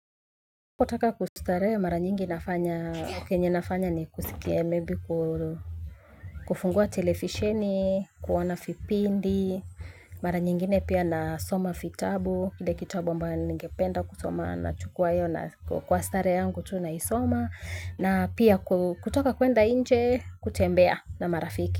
Kutaka kustarehe mara nyingi nafanya, kenye ni kusikia labda kufungua televisheni, kuoana vipindi, mara nyingine pia nasoma vitabu, kile kitabu ambayo ningependa kusoma nachukua na kwa starehe yangu tu naisoma, na pia kutoka kwenda nje kutembea na marafiki.